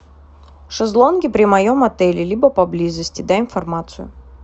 шезлонги при моем отеле либо поблизости дай информацию